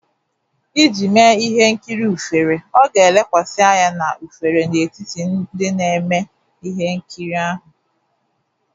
Iji mee ihe nkiri ufere, ọ ga-elekwasị anya na ufere n'etiti ndị na-eme ihe nkiri ahu